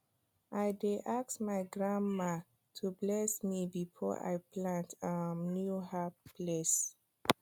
i dey ask my grandma to bless me before i plant um new herb place